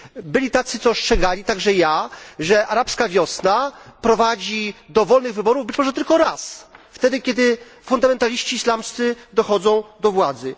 Byli tacy, co ostrzegali także ja że arabska wiosna prowadzi do wolnych wyborów być może tylko raz wtedy, kiedy fundamentaliści islamscy dochodzą do władzy.